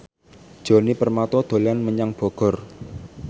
Djoni Permato dolan menyang Bogor